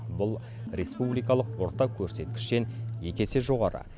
бұл республикалық орта көрсеткіштен екі есе жоғары